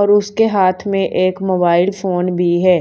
और उसके हाथ में एक मोबाइल फोन भी है।